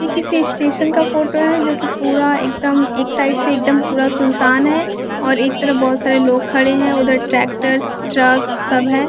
यह किसी स्टेशन का फोटो है जो कि पूरा एकदम एक साइड से एकदम पूरा सुनसान है और एक तरफ बहुत सारे लोग खड़े हैं उधर ट्रैक्टर्स ट्रक सब है।